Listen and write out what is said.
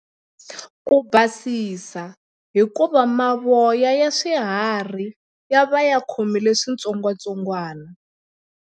Ku basisa hikuva mavoya ya swiharhi ya va ya khomile switsongwatsongwana.